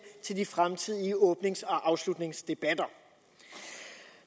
til de fremtidige åbningsdebatter og afslutningsdebatter